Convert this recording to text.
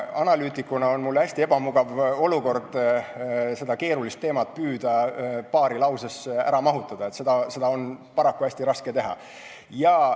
Analüütikuna on mul hästi ebamugav püüda nii keerulist teemat paari lausesse ära mahutada, seda on paraku väga raske teha.